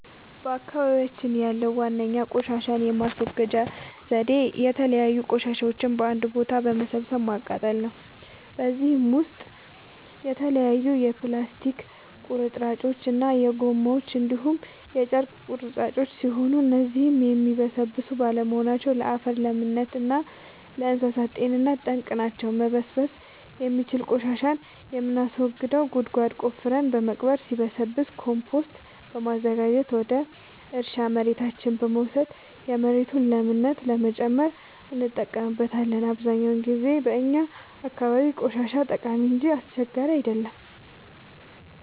በአካባቢያችን ያለዉ ዋነኛ ቆሻሻን የማስወገጃ ዘዴ የተለያዩ ቆሻሻዎችን በአንድ ቦታ በመሰብሰብ ማቃጠል ነው። በዚህም ውስጥ የተለያዩ የፕላስቲክ ቁርጥራጮች እና ጎማዎች እንዲሁም የጨርቅ ቁራጮች ሲሆኑ እነዚህም የሚበሰብሱ ባለመሆናቸው ለአፈር ለምነት እና ለእንሳሳት ጤንነት ጠንቅ ናቸው። መበስበስ የሚችል ቆሻሻን የምናስወግደው ጉድጓድ ቆፍረን በመቅበር ሲብላላ ኮምቶስት በማዘጋጀት ወደ እርሻ መሬታችን በመውሰድ የመሬቱን ለምነት ለመጨመር እንጠቀምበታለን። አብዛኛውን ጊዜ በእኛ አካባቢ ቆሻሻ ጠቃሚ እንጂ አስቸጋሪ አይደለም።